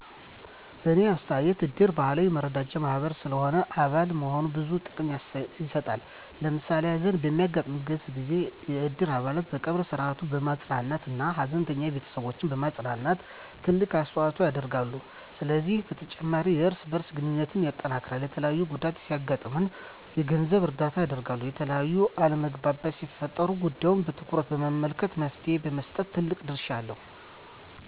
በእኔ አስተያየት እድር ባህላዊ የመረዳጃ ማህበር ስለሆነ አባል መሆን ብዙ ጥቅሞችን ይሰጣል። ለምሳሌ ሀዘን በሚያጋጥምበት ጊዜ የእድር አባላት የቀብር ስነ-ስርዐቱን በማሰናዳት እና ሀዘንተኛ ቤተስቦችን በማፅናናት ትልቅ አስተዋጽኦ ያደርጋሉ። ከዚህም በተጨማሪ የእርስ በእርስ ግንኙነትን ያጠናክራል፣ የተለያየ ጉዳት ሲያጋጥም የገንዘብ እርዳታ ያደርጋል፣ የተለያዩ አለመግባባቶች ሲፈጠሩም ጉዳዩን በትኩረት በመመልከት መፍትሔ በመስጠት ትልቅ ድርሻ አለው።